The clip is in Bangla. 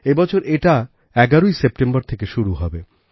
এবছর এটা ১১ই সেপ্টেম্বর থেকে শুরু হবে